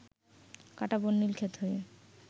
কাঁটাবন, নীলক্ষেত হয়ে